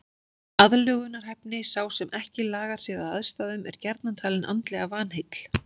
Aðlögunarhæfni Sá sem ekki lagar sig að aðstæðum er gjarnan talinn andlega vanheill.